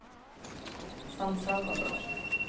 San Salvador